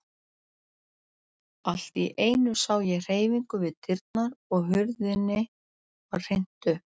Allt í einu sá ég hreyfingu við dyrnar og hurðinni var hrint upp.